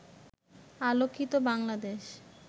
আলোকিত বাংলাদেশ